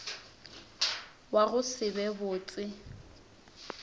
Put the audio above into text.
wa go se be botse